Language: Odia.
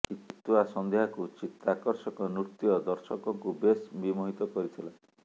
ଶୀତୁଆ ସନ୍ଧ୍ୟାକୁ ଚିତ୍ତାକର୍ଷକ ନୃତ୍ୟ ଦର୍ଶକଙ୍କୁ ବେଶ୍ ବିମୋହିତ କରିଥିଲା